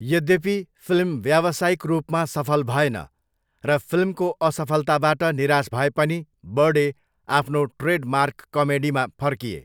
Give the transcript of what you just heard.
यद्यपि, फिल्म व्यावसायिक रूपमा सफल भएन र फिल्मको असफलताबाट निराश भए पनि बर्डे आफ्नो ट्रेडमार्क कमेडीमा फर्किए।